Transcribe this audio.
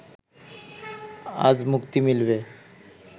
আজ মুক্তি মিলবে